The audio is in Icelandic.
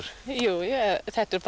jú þetta er bara